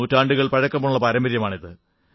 നൂറ്റാണ്ടുകൾ പഴക്കമുള്ള പാരമ്പര്യമാണ്